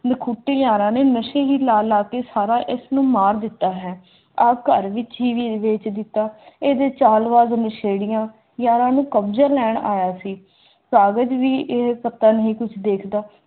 ਰੁੱਖ-ਬੂਟੇ ਯਾਰਾਨੇ ਮਸੀਹੀ ਲਾ ਲਾ ਕੇ ਸਾਰਾ ਇਸ ਨੂੰ ਮਾਰ ਦਿੱਤਾ ਹੈ ਆਖਰ ਵਿੱਚ ਵੀ ਵੇਚ ਦਿੱਤਾ